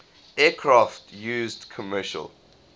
aircraft used commercial